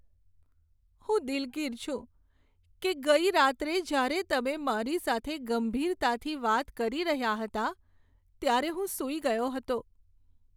હું દિલગીર છું કે ગઈ રાત્રે જ્યારે તમે મારી સાથે ગંભીરતાથી વાત કરી રહ્યા હતા, ત્યારે હું સૂઈ ગયો હતો.